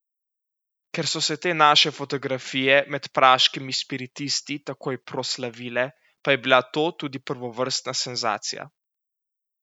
Ker so se te naše fotografije med praškimi spiritisti takoj proslavile, pa je bila to tudi prvovrstna senzacija.